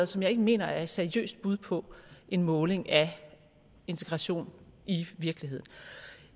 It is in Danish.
som jeg ikke mener er et seriøst bud på en måling af integration i virkeligheden